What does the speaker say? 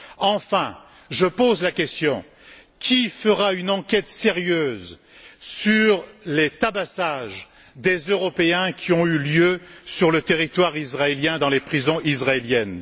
Enfin, je pose la question qui fera une enquête sérieuse sur les tabassages des Européens, qui ont eu lieu sur le territoire israélien, dans les prisons israéliennes?